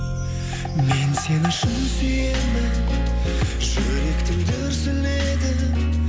мен сені шын сүйемін жүректің дүрсілі едің